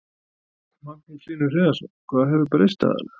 Magnús Hlynur Hreiðarsson: Hvað hefur breyst aðallega?